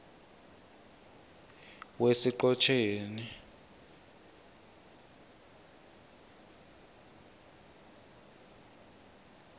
wesiqhotjeni